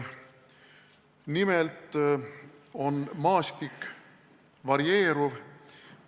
Nimelt on maastik varieeruv.